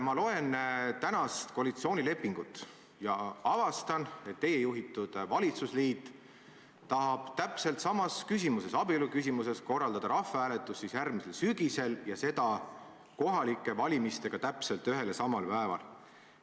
Ma lugesin praegust koalitsioonilepingut ja avastasin, et teie juhitud valitsusliit tahab täpselt samas küsimuses, abieluküsimuses, korraldada rahvahääletuse järgmisel sügisel, ja seda kohalike valimistega ühel ja samal päeval.